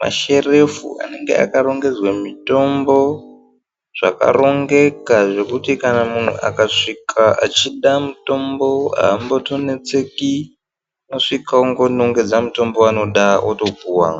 masherefu anenge akarongedzwe mitombo, zvakarongeka zvekuti kana munhu akasvika achida mutombo haatombonetseki unosvika wongonongedza mutombo waanoda otopuwa.